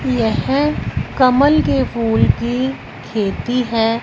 यह कमल के फूल की खेती है।